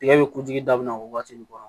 Tigɛ bɛ kutigi dabila o waati nin kɔnɔ